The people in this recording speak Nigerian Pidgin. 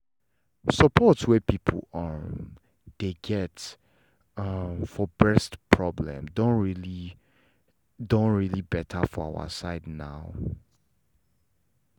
support wey people um dey get um for breast problem don really don really better for our side now.